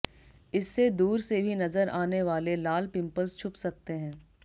इससे दूर से भी नजर आने वाले लाल पिंपल्स छुप सकते हैं